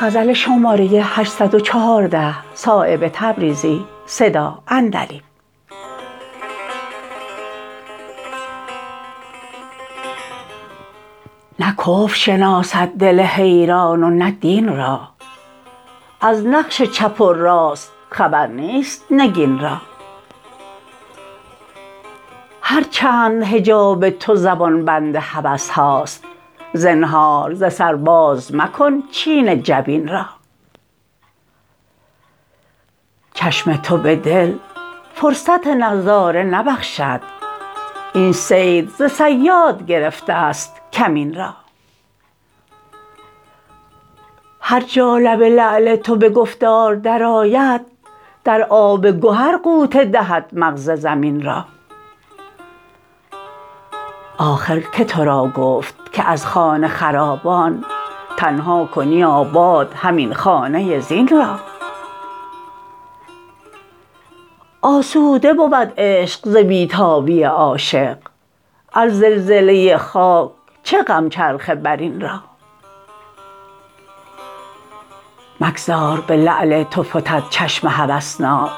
نه کفر شناسد دل حیران و نه دین را از نقش چپ و راست خبر نیست نگین را هر چند حجاب تو زبان بند هوس هاست زنهار ز سر باز مکن چین جبین را چشم تو به دل فرصت نظاره نبخشد این صید ز صیاد گرفته است کمین را هر جا لب لعل تو به گفتار درآید در آب گهر غوطه دهد مغز زمین را آخر که تو را گفت که از خانه خرابان تنها کنی آباد همین خانه زین را آسوده بود عشق ز بی تابی عاشق از زلزله خاک چه غم چرخ برین را مگذار به لعل تو فتد چشم هوسناک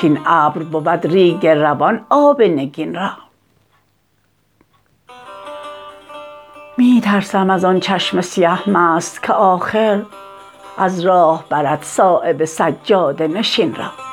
کاین ابر بود ریگ روان آب نگین را می ترسم ازان چشم سیه مست که آخر از راه برد صایب سجاده نشین را